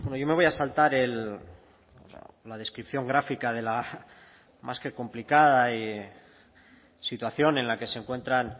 yo me voy a saltar la descripción gráfica de la más que complicada situación en la que se encuentran